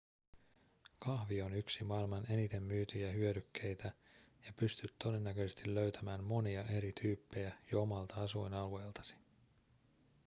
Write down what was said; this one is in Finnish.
kahvi on yksi maailman eniten myytyjä hyödykkeitä ja pystyt todennäköisesti löytämään monia eri tyyppejä jo omalta asuinalueeltasi